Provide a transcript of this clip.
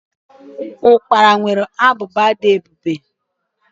ukpala nwere ábụbà dị ebube.